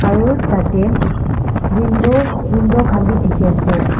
Aro tatey window window khan bhi dekhe ase.